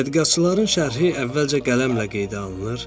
Tədqiqatçıların şərhi əvvəlcə qələmlə qeydə alınır.